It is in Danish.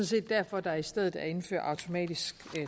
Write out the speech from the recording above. set derfor at der i stedet er indført automatisk